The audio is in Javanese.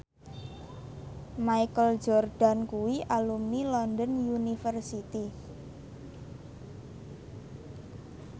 Michael Jordan kuwi alumni London University